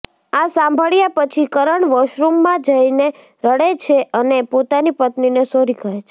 આ સાંભળ્યા પછી કરણ વોશરૂમમાં જઈને રડે છે અને પોતાની પત્નીને સોરી કહે છે